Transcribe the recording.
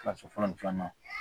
Kilasi fɔlɔ ni filanan